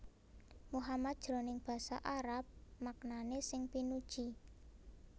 Muhammad jroning basa Arab maknané sing pinuji